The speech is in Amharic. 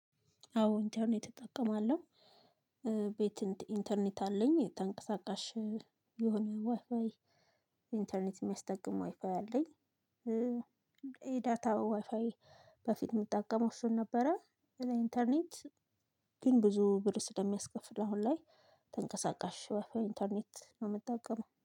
አዎ ኢንተርኔት እጠቀማለሁ። ቤት ኢንተርኔት አለኝ። ተንቀሳቃሽ የሆነ ዋይፋይ ኢንተርኔት የሚያስጠቅመው ዋይፋይ አለኝ። የዳታ ዋይፋይ በፊት የምጠቀመው እሱን ነበረ። ኢንተርኔት ግን ብዙ ብር ስለሚያስከፍል አሁን ላይ ተንቀሳቃሽ ወይ ኢንተርኔት ነው የምትጠቀመው